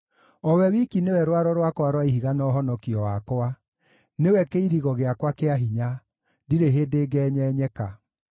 O we wiki nĩwe rwaro rwakwa rwa ihiga na ũhonokio wakwa; nĩwe kĩirigo gĩakwa kĩa hinya, ndirĩ hĩndĩ ngenyenyeka.